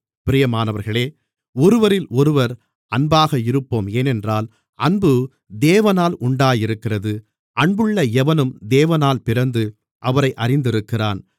பிரியமானவர்களே ஒருவரிலொருவர் அன்பாக இருப்போம் ஏனென்றால் அன்பு தேவனால் உண்டாயிருக்கிறது அன்புள்ள எவனும் தேவனால் பிறந்து அவரை அறிந்திருக்கிறான்